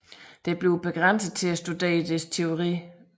Det bliver begrænset til at studere dets teori